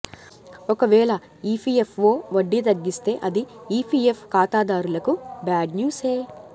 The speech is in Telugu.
ఒకవేళ ఈపీఎఫ్ఓ వడ్డీ తగ్గిస్తే అది ఈపీఎఫ్ ఖాతాదారులకు బ్యాడ్ న్యూసే